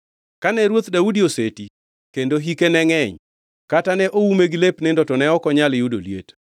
Kane Ruoth Daudi oseti kendo hike ne ngʼeny, kata ne oume gi lep nindo to ne ok onyal yudo liet.